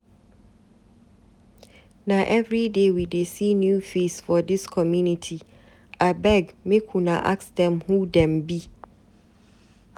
Na everyday we dey see new face for dis community, abeg make una ask dem who dem be.